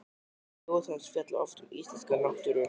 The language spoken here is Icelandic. Ljóð hans fjalla oft um íslenska náttúru.